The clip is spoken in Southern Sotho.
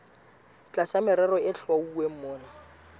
tlasa merero e hlwauweng mona